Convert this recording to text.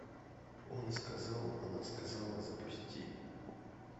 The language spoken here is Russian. он сказал она сказала запусти